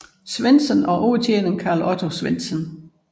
Svensson og overtjener Otto Carl Svensson